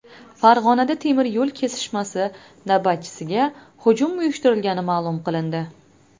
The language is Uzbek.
Farg‘onada temiryo‘l kesishmasi navbatchisiga hujum uyushtirilgani ma’lum qilindi.